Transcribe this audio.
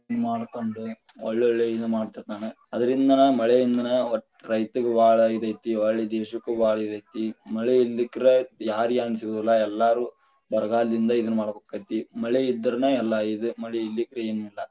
ಮಾಡ್ಕೊಂಡ ಒಳ್ಳೆ ಒಳ್ಳೆ ಇದ ಮಾಡ್ತಿರ್ತಾನ, ಅದರಿಂದನ ಮಳೆಯಿಂದನ ರೈತಗ ಬಾಳ ಇದ ಐತಿ ಹೊಳ್ಳಿ ದೇಶಕ್ಕ ಬಾಳ ಇದತಿ, ಮಳೆ ಇರಲಿಕ್ಕರ ಯಾರ ಯಾರಗೆನು ಸಿಗುದಿಲ್ಲಾ ಎಲ್ಲರೂ ಬರಗಾಲದಿಂದ ಇದ ಮಾಡ್ಬೇಕಾಕ್ಕೆತಿ, ಮಳೆ ಇದ್ರನ ಎಲ್ಲಾ ಇದ ಮಳಿ ಇರಲಿಕ್ಕರ ಏನಿಲ್ಲಾ.